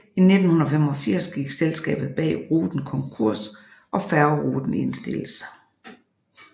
I 1985 gik selskabet bag ruten konkurs og færgeruten indstilles